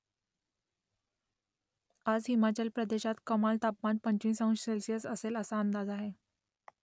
आज हिमाचल प्रदेशात कमाल तापमान पंचवीस अंश सेल्सिअस असेल असा अंदाज आहे